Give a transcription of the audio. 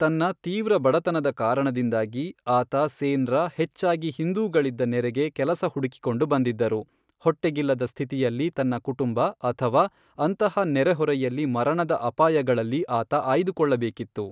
ತನ್ನ ತೀವ್ರ ಬಡತನದ ಕಾರಣದಿಂದಾಗಿ, ಆತ ಸೇನ್ರ ಹೆಚ್ಚಾಗಿ ಹಿಂದೂಗಳಿದ್ದ ನೆರೆಗೆ ಕೆಲಸ ಹುಡುಕಿಕೊಂಡು ಬಂದಿದ್ದರು, ಹೊಟ್ಟೆಗಿಲ್ಲದ ಸ್ಥಿತಿಯಲ್ಲಿ ತನ್ನ ಕುಟುಂಬ ಅಥವಾ ಅಂತಹ ನೆರೆಹೊರೆಯಲ್ಲಿ ಮರಣದ ಅಪಾಯಗಳಲ್ಲಿ ಆತ ಆಯ್ದುಕೊಳ್ಳಬೇಕಿತ್ತು.